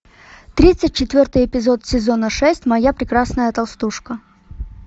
тридцать четвертый эпизод сезона шесть моя прекрасная толстушка